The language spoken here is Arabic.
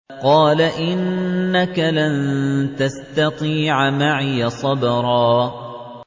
قَالَ إِنَّكَ لَن تَسْتَطِيعَ مَعِيَ صَبْرًا